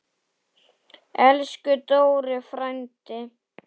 Elsku Dóri frændi.